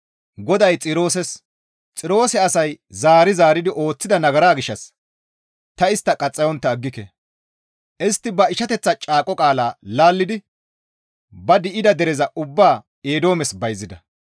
GODAY Xirooses, «Xiroose asay zaari zaaridi ooththida nagaraa gishshas ta istta qaxxayontta aggike; istti ba ishateththa caaqo qaala laallidi ba di7ida dereza ubbaa Eedoomes bayzida.